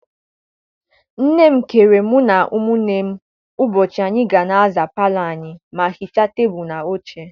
Nne m keere mụ na ụmụnne ụbọchị anyị ga na-aza palọ anyị ma hichaa tebulu na oche.